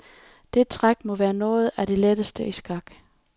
Det træk må være noget af det letteste i skak.